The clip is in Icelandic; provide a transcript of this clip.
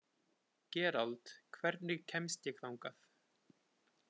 Gerald, hvernig kemst ég þangað?